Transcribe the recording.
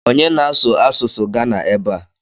Onye na-asụ asụsụ Gana ebe a?